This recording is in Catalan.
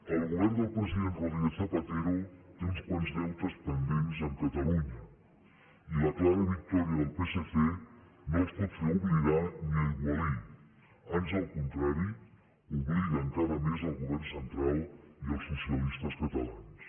el govern del president rodríguez zapatero té uns quants deutes pendents amb catalunya i la clara victòria del psc no els pot fer oblidar ni aigualir ans al contrari obliga encara més el govern central i els socialistes catalans